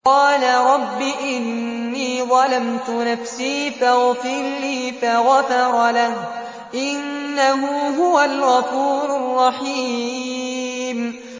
قَالَ رَبِّ إِنِّي ظَلَمْتُ نَفْسِي فَاغْفِرْ لِي فَغَفَرَ لَهُ ۚ إِنَّهُ هُوَ الْغَفُورُ الرَّحِيمُ